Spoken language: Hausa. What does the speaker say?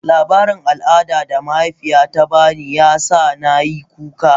Labarin al'adar da mahaifiyata ta ba ni, ya sa na yi kuka.